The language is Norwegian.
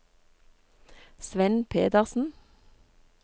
Svend Pedersen